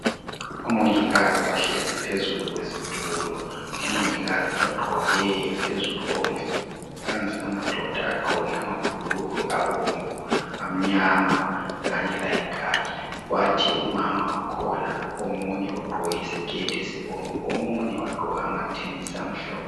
Omongikazi bahlezi phezulu kwezitulo. Omongikazi bagqoke phezulu okumh...Phansi amadoda agqoke amabhulugwe abomvu, amnyama kanye layikhakhi. Kwathi umama okhona omunye ugqoke isiketi esibomvu. Omunye wagqoka amathenesi amhlophe.